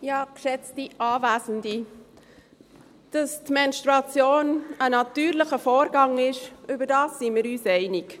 Dass die Menstruation ein natürlicher Vorgang ist, darin sind wir uns einig.